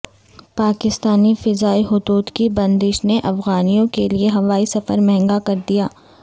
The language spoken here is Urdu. پاکستانی فضائی حدود کی بندش نے افغانیوں کیلئے ہوائی سفر مہنگا کر دیا